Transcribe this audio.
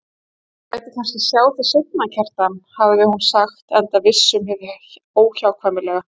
Þú lætur kannski sjá þig seinna, Kjartan, hafði hún sagt enda viss um hið óhjákvæmilega.